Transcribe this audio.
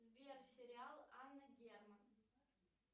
сбер сериал анна герман